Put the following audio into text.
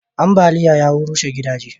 ambaliya ya rushe gidaje